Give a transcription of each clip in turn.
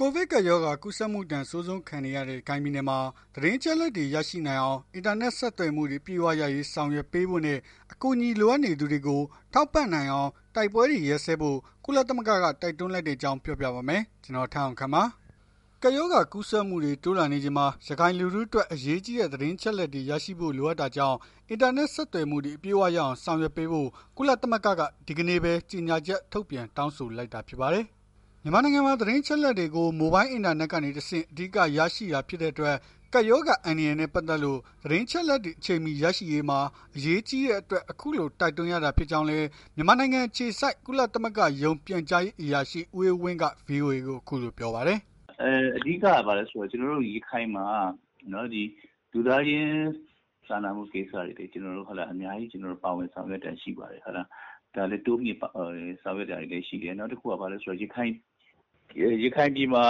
ကိုဗစ်ကပ်ရောဂါ ကူးစက်မှုဒဏ် အဆိုးဆုံးခံနေရတဲ့ ရခိုင်ပြည်နယ်မှာ သတင်းအချက်အလက်တွေ ရရှိနိုင်အောင် အင်တာနက် ဆက်သွယ်မှုတွေ အပြည့်အဝရရေး ဆောင်ရွက်ပေးဖို့နဲ့ အကူအညီလိုအပ်နေသူတွေကို ထောက်ပံ့နိုင်အောင် တိုက်ပွဲတွေ ရပ်စဲဖို့ ကုလသမဂ္ဂက တိုက်တွန်းလိုက်တဲ့အကြောင်းကို ဗွီအိုအေမြန်မာပိုင်းသတင်းထောက် ကိုထက်အောင်ခန့်က ပြောပြပေးပါမယ်။ ကပ်ရောဂါကူးစက်မှုတွေ တိုးလာနေချိန်မှာ ရခိုင်လူထုအတွက် အရေးကြီးတဲ့ သတင်းအချက်အလက်တွေရရှိဖို့ လိုအပ်တာကြောင့် အင်တာနက် ဆက်သွယ်မှုတွေ အပြည့်အဝရအောင် ဆောင်ရွက်ပေးဖို့ ကုလသမဂ္ဂက ဒီကနေ့ပဲ ကြေညာချက် ထုတ်ပြန် တောင်းဆိုလိုက်တာ ဖြစ်ပါတယ်။ မြန်မာနိုင်ငံမှာ သတင်းအချက်အလက်တွေကို မိုဘိုင်းအင်တာနက်ကနေ တဆင့် အဓိက ရရှိတာ ဖြစ်တဲ့အတွက် ကပ်ရောဂါ အန္တရာယ်နဲ့ ပတ်သက်လို့ သတင်းအချက်အလက်တွေ အချိန်မှီရရှိရေးမှာ အရေးကြီးတဲ့အတွက် အခုလို တိုက်တွန်းရတာ ဖြစ်ကြောင်းလည်း မြန်မာနိုင်ငံ အခြေစိုက် ကုလသမဂ္ဂရုံး ပြန်ကြားရေးအရာရှိ ဦးအေးဝင်းက ဗွီအိုအေကို အခုလိုပြောပါတယ်။ “အဓိကက ဘာလည်းဆိုတော့ ကျနော်တို့ ရခိုင်မှာ လူသားချင်းစာနာမှုဆိုင်ရာတွေ ကျနော်တို့ အများကြီး ပါဝင်ဆောင်ရွက်တာရှိတယ်။ ဒါလည်းတိုးမြှင့်ဆောင်ရွက်တာတွေလည်းရှိတယ်။ နောက်တခုက ရခိုင်ပြည်မှာ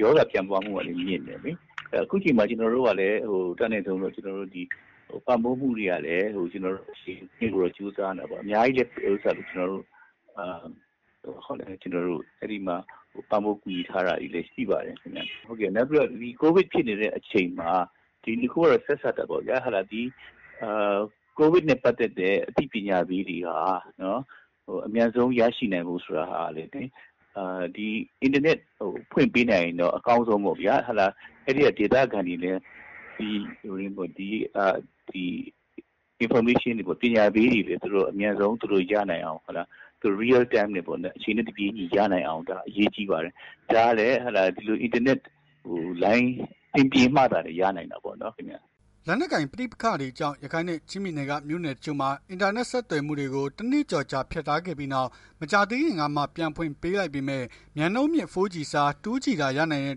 ရောဂါပြန့်ပွားမှုကလည်း မြင့်တယ်လေ။ အခုချိန်မှာ ကျနော်တို့က အတတ်နိုင်ဆုံး ပံ့ပိုးမှုတွေလုပ်ဖို့ ကြိုးစားနေတာပေါ့။ အများကြီးလည်း ပံ့ပိုးကူညီထားတာတွေလည်း ရှိပါတယ်။ နောက်ပြီးတော့ ကိုဗစ်ဖြစ်နေတဲ့ အချိန်မှာ ကိုဗစ်နဲ့ ပတ်သက်တဲ့ အသိပညာပေးတွေဟာ အမြန်ဆုံး ရရှိနိုင်ဖို့ဆိုတာကလည်း အင်တာနက် ဖွင့်ပေး နိုင်ရင်တော့ အကောင်းဆုံးပေါ့ဗျာ။ အဲ့ဒီကဒေသခံတွေလည်း Information တွေ ပညာပေးတွေ သူတို့အမြန်ဆုံး အချိန်နဲ့ တပြေးညီရနိုင်အောင် အရေးကြီးပါတယ်။ ဒါကလည်း အင်တာနက်လိုင်း အဆင်ပြေမှသာလျှင် ရနိုင်တာပေါ့နော်။” လက်နက်ကိုင် ပဋိပက္ခတွေကြောင့် ရခိုင်နဲ့ ချင်းပြည်နယ်က မြို့နယ်တချို့မှာ အင်တာနက် ဆက်သွယ်မှုတွေကို တနှစ်ကျော်ကြာ ဖြတ်ထားခဲ့ပြီးနောက် မကြာသေးခင်ကမှ ပြန်ဖွင့်ပေးလိုက်ပေမဲ့ မြန်နှုန်းမြင့် 4G အစား 2G သာ ရနိုင်တဲ့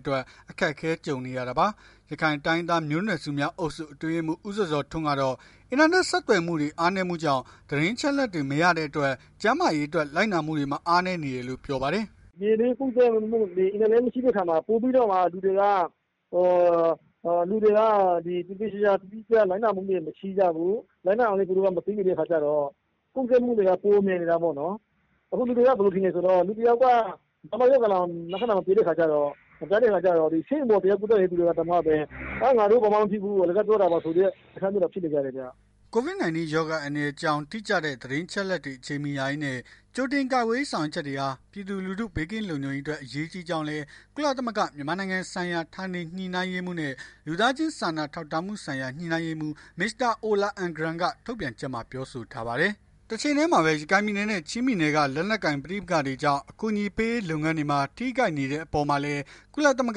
အတွက် အခက်အခဲ ကြုံနေရတာပါ။ ရခိုင်တိုင်းရင်းသား မျိုးနွယ်စုများအုပ်စု အတွင်းရေးမှူး ဦးဇော်ဇော်ထွန်း ကတော့ အင်တာနက် ဆက်သွယ်မှုတွေ အားနည်းမှုကြောင့် သတင်းအချက်အလက်တွေ မရတဲ့အတွက် ကျန်းမာရေးအတွက် လိုက်နာမှုတွေမှာ အားနည်းနေတယ်လို့ ပြောပါတယ်။ “ပြည်တွင်းကူးစက်မှုက အင်တာနက်မရှိတဲ့အခါမှာ ပိုပြီးတော့ လူတွေက သေသေချာချာ တိတိကျကျလိုက်နာမှုတွေ မရှိကြဘူး။ လိုက်နာရအောင်လည်း သူတို့က မသိနေတဲ့အခါကျတော့ ကူးစက်မှုတွေက ပိုမြန်နေတာပေါ့။ အခုလူတွေက ဘယ်လိုထင်လည်းဆိုတော့ လူတယောက်က လက္ခဏာ မပြတဲ့အခါကျတော့ ဆေးရုံတက်နေတဲ့ လူတွေတောင်မှလည်း ငါတို့ဘာမှမဖြစ်ဘူး အလကားပြောနေကြတာပါဆိုတဲ့ အနေအထားမျိုးတွေဖြစ်နေ တယ်။” COVID-19 ရောဂါ အန္တရာယ်အကြောင်း တိကျတဲ့ အချက်အလက်တွေ အချိန်မီရရေးနဲ့ ကြိုတင်ကာကွယ်ရေး ဆောင်ရွက်ချက်တွေဟာ ပြည်သူလူထု ဘေးကင်းလုံခြုံရေးအတွက် အရေးကြီးကြောင်းလည်း ကုလသမဂ္ဂ မြန်မာနိုင်ငံဆိုင်ရာ ဌာနေညှိနှိုင်းရေးမှူးနဲ့ လူသားချင်းစာနာထောက်ထားမှုဆိုင်ရာ ညှိနှိုင်းရေးမှူး Mr. Ola Almgren က ထုတ်ပြန်ချက်မှာ ပြောဆိုထားပါတယ်။ တချိန်တည်းမှာပဲ ရခိုင်ပြည်နယ်နဲ့ ချင်းပြည်နယ်တွေက လက်နက်ကိုင် ပဋိပက္ခတွေကြောင့် အကူအညီပေးရေး လုပ်ငန်းတွေမှာ ထိခိုက်နေတဲ့အပေါ်မှာလည်း ကုလသမဂ္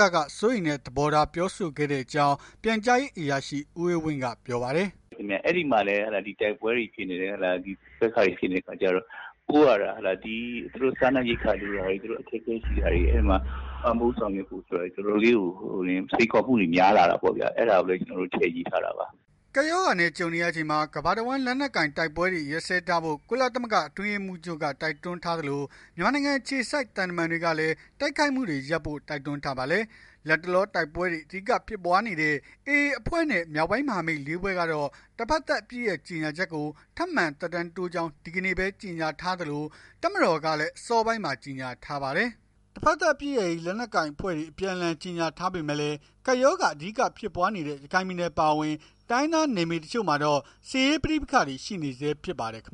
ဂက စိုးရိမ်တဲ့ သဘောထား ပြောဆိုခဲ့တဲ့အကြောင်း ပြန်ကြားရေးအရာရှိ ဦးအေးဝင်းက ပြောပါတယ်။ “အဲ့ဒီမှာလည်း တိုက်ပွဲဖြစ်နေတဲ့အခါကျတော့ ဒီကိစ္စတွေ ဖြစ်နေတဲ့အခါကျတော့ ပို့ရတဲ့အခါ စားနပ်ရိက္ခာတွေ သူတို့အခက်အခဲရှိတာတွေ ပံ့ပိုးဆောင်ရွက်ဖို့အတွက် စိမ်ခေါ်မှုတွေ တော်တော်လေးကို များလာတာပေါ့ဗျာ။ အဲ့ဒါပဲ ကျနော်တို့ ထည့်ရေးထားတာပါ။” ကပ်ရောဂါနဲ့ ကြုံနေရချိန်မှာ ကမ္ဘာတဝန်း လက်နက်ကိုင်တိုက်ပွဲတွေရပ်စဲထားဖို့ ကုလသမဂ္ဂ အတွင်းရေးမှူးချုပ်က တိုက်တွန်းထားသလို မြန်မာနိုင်ငံ အခြေစိုက် သံတမန်တွေကလည်း တိုက်ခိုက်မှုတွေရပ်ဖို့ တိုက်တွန်းထားပါတယ်။ လတ်တလော တိုက်ပွဲတွေ အဓိကဖြစ်နေတဲ့ AA အဖွဲ့နဲ့ မြောက်ပိုင်းမဟာမိတ် ၄ ဖွဲ့ကတော့ တဘက်သတ်အပစ်ရပ်ကြေညာချက်ကို ထပ်မံသက်တမ်းတိုးကြောင်း ဒီကနေ့ပဲ ကြေညာထားသလို တပ်မတော်ကလည်း အစောပိုင်းမှာ ကြေညာထားပါတယ်။ တဘက်သတ်အပစ်ရပ်ရေး လက်နက်ကိုင် အဖွဲ့တွေ အပြန်အလှန် ကြေညာထားပေမဲ့လည်း ကပ်ရောဂါ အဓိကဖြစ်ပွားနေတဲ့ ရခိုင်ပြည်နယ်အပါအဝင် တိုင်းရင်းသား နယ်မြေတချို့မှာတော့ စစ်ရေးပဋိပက္ခတွေ ရှိနေဆဲဖြစ်ပါတယ်ခင်